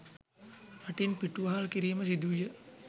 රටින් පිටුවහල් කිරීම සිදුවිය